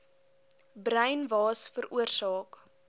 bruin waas veroorsaak